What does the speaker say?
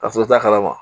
Ka sɔrɔ i t'a kalama